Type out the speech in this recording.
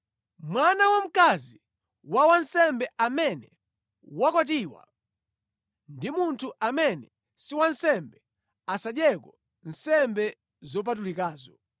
Mwana wamkazi wa wansembe amene wakwatiwa ndi munthu amene si wansembe, asadyeko nsembe zopatulikazo.